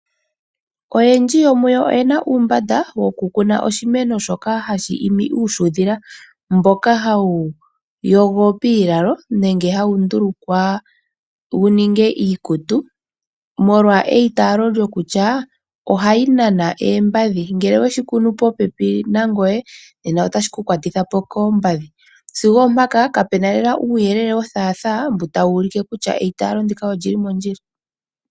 Oyendji yomuyo oyena uumbanda wokukuna oshimeno shoka hashi imi uushudhila mboka hawu yogo piilalo nenge hawu ndulukwa wuninge iikutu molwa eyitaalo lyokutya ohayi nana oombadhi ngele oweyi kunu popepi nangoye otashikukwatithapo koombadhi, sigo oompaka kapuna lela uuyelele wothaatha mboka tawu ulike kutya eitaalo ndika oli li mondjila.